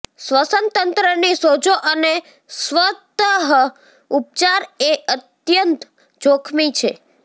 શ્વસન તંત્રની સોજો અને સ્વતઃ ઉપચાર એ અત્યંત જોખમી છે